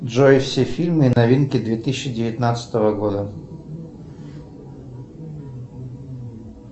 джой все фильмы и новинки две тысячи девятнадцатого года